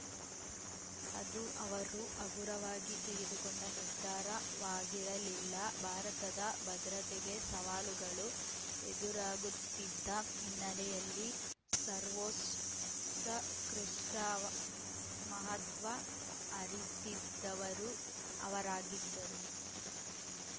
ಅದು ಅವರು ಹಗುರವಾಗಿ ತೆಗೆದುಕೊಂಡ ನಿರ್ಧಾರವಾಗಿರಲಿಲ್ಲ ಭಾರತದ ಭದ್ರತೆಗೆ ಸವಾಲುಗಳು ಎದುರಾಗುತ್ತಿದ್ದ ಹಿನ್ನೆಲೆಯಲ್ಲಿ ಸರ್ವೋತ್ಕೃಷ್ಟಮಹತ್ವ ಅರಿತಿದ್ದವರು ಅವರಾಗಿದ್ದರು